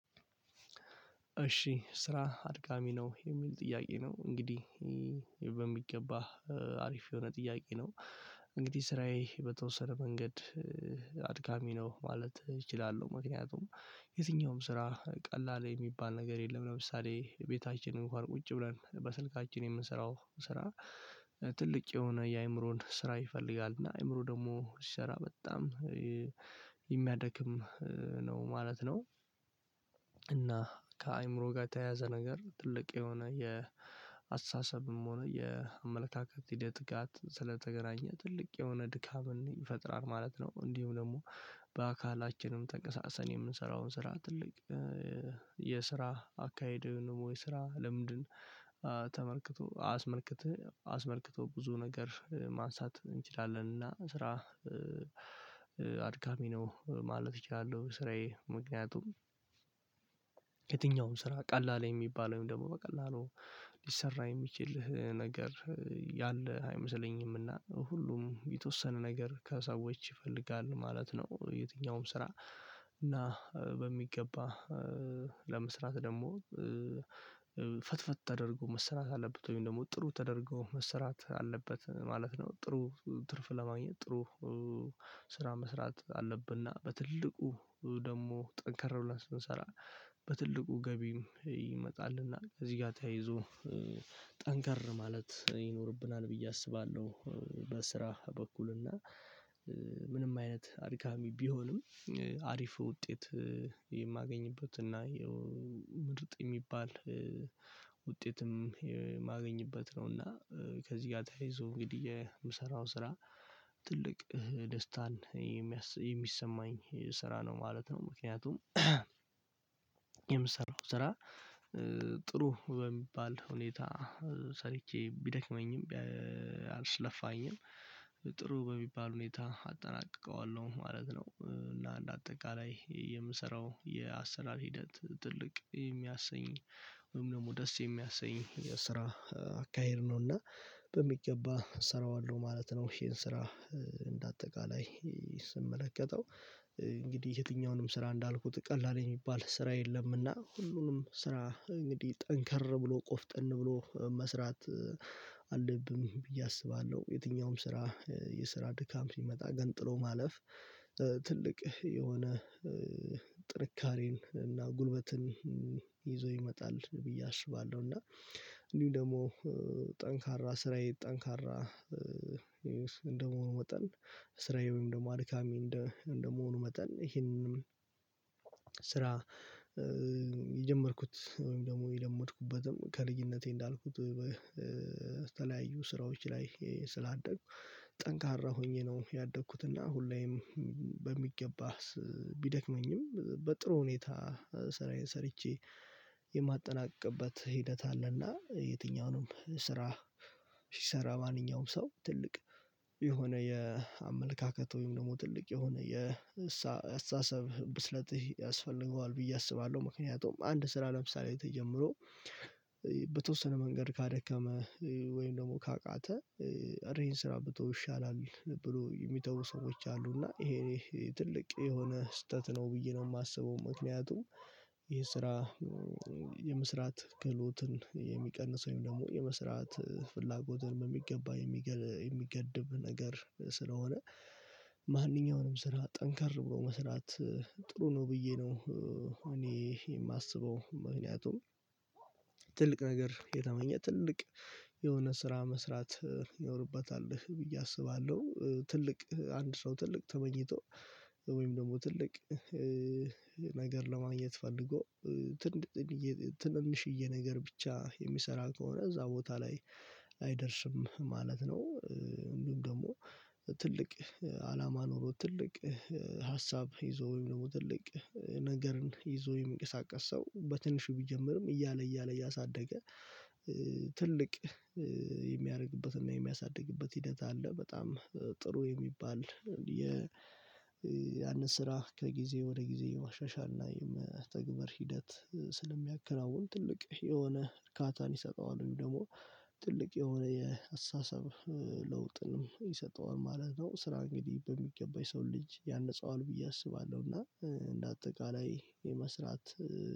እሺ ስራ አድካሚ ነው የሚል ጥያቄ ነው እንግዲህ በሚገባህ አሪፍ የሆነ ጥያቄ ነው። እንግዲህ ስራዬ በተወሰነ መንገድ አድካሚ ነው ማለት እችላለሁ። ምክንያቱም የትኛውም ስራ ቀላል የሚባል ነገር የለም። ለምሳሌ ቤታችን እንኳን ቁጭ ብለን በስልካችን የምንሰራው ስራ። ትልቅ የሆነ የአእምሮን ስራ ይፈልጋል እና አእምሮ ደግሞ ሲሰራበጣም የሚያደክም ነው ማለት ነው። እና ከአእምሮ ጋር ተያያዘ ነገር ትልቅ የሆነ የአስተሳሰብም ሆነ የአመለካከት ሂደት ጋት ስለተገናኘ ትልቅ የሆነ ድካምን ፈጥራል ማለት ነው። እንዲሁ ደግሞ በአካላችንም ተንቀሳቅሰን የምንሰራውን ስራ ትልቅ የስራ አካሄድን ወይ ስራ ልምድን ተመልክቶ አስመልክቶ አስመልክቶ ብዙ ነገር ማንሳት እንችላለን እና ስራ አድካሚ ነው ማለት እችላለሁ። ስራዬ ምክንያቱም የትኛውን ስራ ቀላል የሚባለል ወይም ደግሞ በቀላሉ ሊሰራ የሚችልል ነገር ያለህ አይመስለኝም እና ሁሉም የተወሰነ ነገር ከሰዎች ይፈልጋል ማለት ነው። የትኛውም ስራ እና በሚገባ ለመስራት ደግሞ ፍትፍት ተደርጎ መስራት አለበት ወይም ደግሞ ጥሩ ተደርጎ መሰራት አለበት ማለት ነው። ጥሩ ትርፍ ለማግኘት ጥሩ ስራ መስራት አለብንና በትልቁ ደግሞ ጠንከር ብለን ስንሰራ በትልቁ ገቢም ይመጣልና እዚህ ጋር ተያይዞ ጠንከር ማለት ይኖርብናል ብዬ አስባለሁ። በስራ በኩል እና ምንም አይነት አድካሚ ቢሆንም አሪፍ ውጤት የማገኝበትና የው ምርጥ የሚባል ውጤትም የማገኝበት ነውና ከዚህ ጋር ተያይዞ እንግዲህ የምሰራው ስራ ትልቅ ደስታን የሚ የሚሰማኝ ስራ ነው ማለት ነው። ምክንያቱም የምሰራው ስራ ጥሩ በሚባል ሁኔታ ሰርቼ ቢደክመኝም አልስለፋኝም ጥሩ በሚባል ሁኔታ አጠናቅቀዋለሁ ማለት ነው። እና እንደ አጠቃላይ የምሰራው የአሰራር ሂደት ትልቅ የሚያሰኝ ወይም ደግሞ ደስ የሚያሰኝ የስራ አካሄድ ነውና በሚገባ እሰራዋለሁ ማለት ነው። ይሄን ስራ እንደ አጠቃላይ ስመለከተው እንግዲህ የትኛውንም ስራ እንዳልኩት ቀላል የሚባል ስራ የለምና ሁሉንም ስራ እንግዲህ ጠንከር ብሎ ቆፍጠን ብሎ መስራት አለብን ብዬ አስባለሁ። የትኛውም ስራ የስራ ድካም ሲመጣ ግን ጥሎ ማለፍ ትልቅ የሆነ ጥንካሬን እና ጉልበትን ይዞ ይመጣል ብዬ አስባለሁ። እና እንዲሁም ደግሞ ጠንካራ ስራዬ ጠንካራ እንደመሆኑ መጠን ስራዬም ደግሞ አድካሚ እንደ እንደመሆኑ መጠን ይሄንንም ስራ የጀመርኩት ወይም ደግሞ የለመድኩበትም ከልጅነቴ እንዳልኩት በተለያዩ ስራዎች ላይ ስላደግኩ። ጠንካራ ሆኜ ነው ያደግኩት እና ሁሌም በሚገባ ቢደክመኝም በጥሩ ሁኔታ ስራዬን ሰርቼ የማጠናቅቅበት ሂደት አለና። የትኛውንም ስራ ሲሰራ ማንኛውም ሰው ትልቅ የሆነ የአመለካከት ወይም ደግሞ ትልቅ የሆነ የእሳ የአስተሳሰብ ብስለት ይሄ ያስፈልገዋል ብዬ አስባለሁ። ምክንያቱም አንድ ስራ ለምሳሌ ተጀምሮ በተወሰነ መንገድ ካደከመ ወይም ደግሞ ካቃተ እረ ይሄን ስራ ብተወው ይሻላል ብለው የሚተው ሰዎች አሉ። እና ይሄ ትልቅ የሆነ ስህተት ነው ብዬ ነው የማስበው። ምክንያቱም ይሄ ስራ የመስራት ክህሎትን የሚቀንሰው ወይም ደግሞ የመስራት ፍላጎትን በሚገባ የሚገል የሚገድብ ነገር ስለሆነ። ማንኛውንም ስራ ጠንከር ብሎ መስራት ጥሩ ነው ብዬ ነው። እኔ የማስበው ምክንያቱም ትልቅ ነገር የተመኘ ትልቅ የሆነ ስራ መስራት ይኖርበታል ብዬ አስባለሁ። ትልቅ አንድ ሰው ትልቅ ተመኝቶ ወይም ደግሞ ትልቅ ነገር ለማየት ፈልጎ ትልቅ ትንንሽዬ ነገር ብቻ የሚሰራ ከሆነ እዛ ቦታ ላይ አይደርስም ማለት ነው። እንዲሁም ደግሞ ትልቅ አላማ ኖሮ ትልቅ ሀሳብ ይዞ ወይም ደግሞ ትልቅ ነገርን ይዞ የሚቀሳቀስ ሰው በትንሹ ቢጀምርም እያለ እያለ እያሳደገ ትልቅ የሚያደርግበትና የሚያሳድግበት ሂደት አለ። በጣም ጥሩ የሚባል የ ያንን ስራ ከጊዜ ወደ ጊዜ የማሻሻል እና የመተግበር ሂደት ስለሚያከናውን ትልቅ የሆነ እርካታን ይሰጠዋል ወይም ደግሞ ትልቅ የሆነ የአሳሰብ ለውጥንም ይሰጠዋል ማለት ነው። ስራ እንግዲህ በሚገባሰው ልጅ ያንጻዋል ብዬ አስባለሁ። እና እንደ አጠቃላይ የመስራት